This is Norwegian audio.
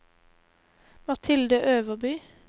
Mathilde Øverby